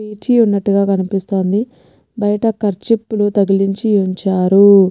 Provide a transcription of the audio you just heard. పేర్చి ఉన్నటుగా కనిపిస్తాంది బయట కార్చీపులు తగిలించి ఉంచారూ.